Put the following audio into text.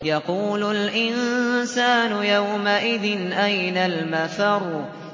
يَقُولُ الْإِنسَانُ يَوْمَئِذٍ أَيْنَ الْمَفَرُّ